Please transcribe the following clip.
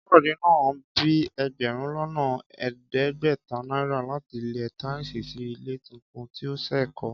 Káyọ̀dé ná bíi ẹgbẹ̀rún lọ́nà ẹ̀ẹ́dẹ́gbẹ̀ta náírà láti lẹ táìsì sí ilé tuntun tí ó ṣẹ̀ kọ́